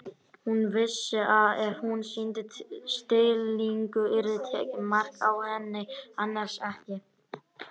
Hún vissi að ef hún sýndi stillingu yrði tekið mark á henni- annars ekki.